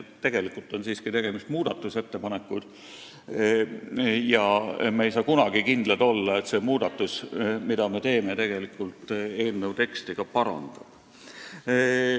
Meil on siiski tegemist muudatusettepanekutega ja me ei saa kunagi kindlad olla, et see muudatus, mille me teeme, tegelikult eelnõu teksti parandab.